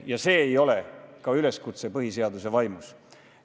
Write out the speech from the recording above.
Ja see ei ole ka üleskutse põhiseaduse vaimus.